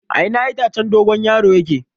A ina itacen dogon yaro yake?